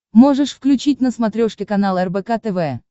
можешь включить на смотрешке канал рбк тв